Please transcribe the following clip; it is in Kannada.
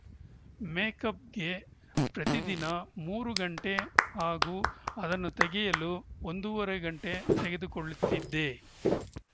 ಮೇಕಪ್‌ಗೆ ಪ್ರತಿದಿನ ಮೂರು ಗಂಟೆ ಹಾಗೂ ಅದನ್ನು ತೆಗೆಯಲು ಒಂದೂವರೆ ಗಂಟೆ ತೆಗೆದುಕೊಳ್ಳುತ್ತಿದ್ದೆ